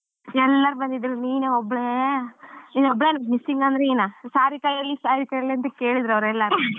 ಎಲ್ಲರು ಬಂದಿದ್ರೂ ನಿನ್ ಒಬ್ಳೆ ನಿನ್ ಒಬ್ಳೆ missing ಅಂದ್ರೆ ನೀನಾ ಸಾರಿಕಾ ಎಲ್ಲಿ ಸಾರಿಕಾ ಎಲ್ಲಿ ಅಂತ ಕೇಳಿದ್ರೂ ಅವ್ರು ಎಲ್ಲರು .